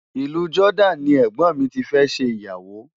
Ìlú Jordan ni ẹ̀gbọ́n mi ti fẹ́ ṣe ìyàwó.